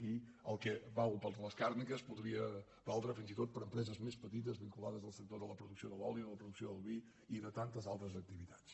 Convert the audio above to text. i el que val per a les càrniques podria valdre fins i tot per a empreses més petites vinculades al sector de la producció de l’oli de la producció del vi i de tantes altres activitats